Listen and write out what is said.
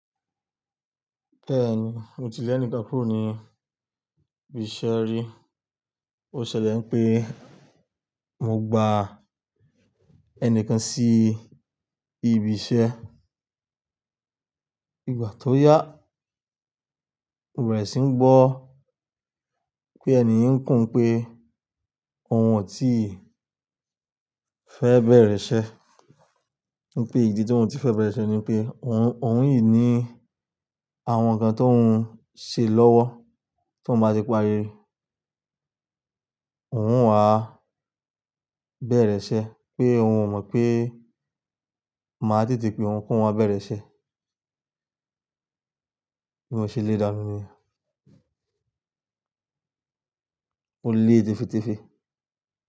Bẹ́ẹ̀ni, mo ti le ẹnìkan kúrò ní ibi iṣẹ́ rí. Ó ṣẹlẹ̀ pé mo gba ẹnìkan sí ibi iṣẹ́. Nígbà tó yá, mo bẹ̀rẹ̀ síi gbọ́ pé ènìun ń kùn pé òun ò tíì fẹ́ bẹ̀rẹ̀ iṣẹ́. Wípé ìdí tí òun tí fẹ́ bẹ̀rẹ̀ iṣẹ́ ni pé òun, òun yìí ní àwọn nǹkan tó ń ṣe lọ́wọ́ tó ń bá ti parí, òun wàá bẹ̀rẹ̀ iṣẹ́. Pé òun ò mọ̀ pé màá tètè pé òun ki oun wá bẹ̀rẹ̀ iṣẹ́. Bí mo ṣe lé dànù niyen. Mó lé tefé̀tefé̀.